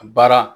A baara